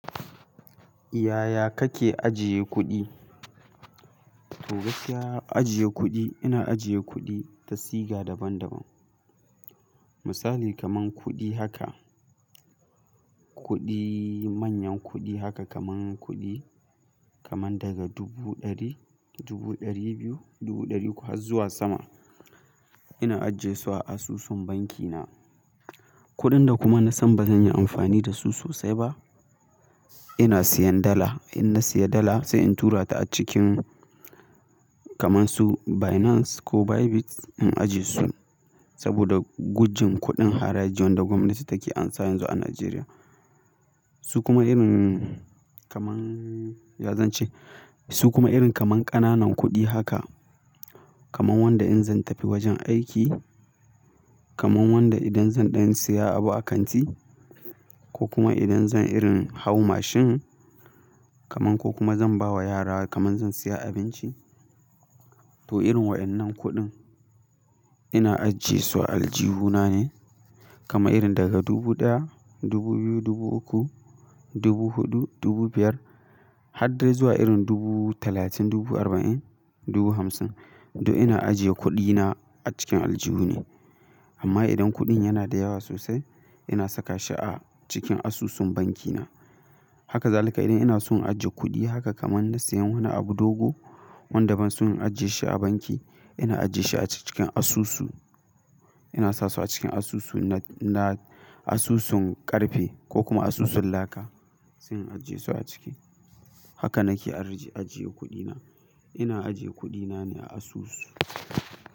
Yaya kake ajiye kuɗi? To gaskiya ajiye kuɗi, ina ajiye kuɗi ta siga daban daban. Misali kamar kuɗi haka, kuɗi manyan kuɗi haka kamar kuɗi kamar daga dubu ɗari, dubu ɗari biyu, dubu ɗari uku har zuwa sama ina ajiyesu a asusun banki na. Kuɗin da kuma na san ba zan yi amfani da su sosai ba ina siyan dala. In nasiya dala sai in turata acikin kaman su Binance ko Bybit in ajiyesu saboda gudun kuɗin haraji wanda gwamnati take amsa yanzu a Najeriya. Su kuma irin kamar ya zan ce, su kuma irin kamar ƙananan kuɗi haka kaman wanda in zantafi wajen aiki, kaman wanda idan zan ɗan siya abu a kanti. Ko kuma idan zan irin hau mashin kamar ko kuma zan ba wa yara kamar zan siya abinci. To irin wa'yannan kuɗin ina ajiyesu a aljihu na ne. Kaman irin daga dubu ɗaya, dubu biyu, dubu uku, dubu huɗu, dubu biyar har dai zuwa irin dubu talatin, dubu arba'in, dubu hamsin duk ina ajiye kuɗi na a cikin aljihu ne. Amma idan kuɗin yana da yawa sosai ina saka shi a cikin asusun banki na. Haka zalika idan ina son in ajje kuɗi haka kamar na siyan wani abu dogo wanda ban son in ajjiye shi a banki, ina ajjiye shi a cikin asusu. Ina sasu a cikin asusu na, na asusun ƙarfe ko kuma asusun laka sai in ajiyesu a ciki. Haka nake ajiye kuɗina. Ina ajiye kuɗi na ne a asusu.